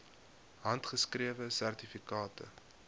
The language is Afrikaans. handgeskrewe sertifikate